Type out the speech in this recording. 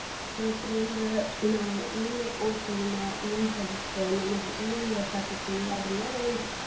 ಮತ್ತ್ ಮುಂದ ನಾವ್ ಏನ್ ಒದ್ತೀವಿ ನಾವ್ ಏನ್ ಕಲತ್ರ ನಮ್ಗ ಏನ್ ಗೊತ್ ಆಕ್ಕೇತಿ ಅದೆಲ್ಲಾ ನಮ್ಗ.